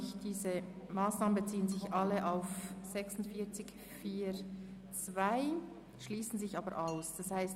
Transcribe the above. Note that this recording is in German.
Diese Anträge beziehen sich alle auf die Massnahme 46.4.2, aber sie schliessen sich gegenseitig aus.